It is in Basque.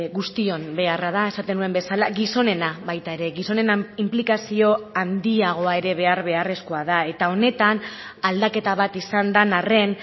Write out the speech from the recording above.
guztion beharra da esaten nuen bezala gizonena baita ere gizonen inplikazio handiagoa ere behar beharrezkoa da eta honetan aldaketa bat izan den arren